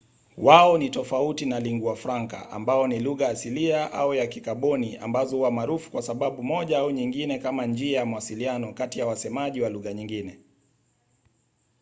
wao ni tofauti na lingua francas ambayo ni lugha asilia au ya kikaboni ambazo huwa maarufu kwa sababu moja au nyingine kama njia ya mawasiliano kati ya wasemaji wa lugha nyingine